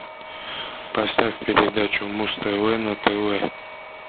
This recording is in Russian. поставь передачу муз тв на тв